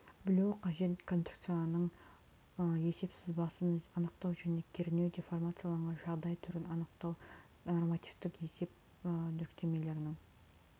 білуі қажет конструкцияның есеп сызбасын анықтау және кернеу деформацияланған жағдай түрін анықтау нормативтік және есеп жүктемелерінің